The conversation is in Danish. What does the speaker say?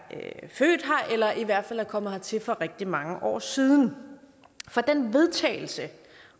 født her eller i hvert fald er kommet hertil for rigtig mange år siden for den vedtagelse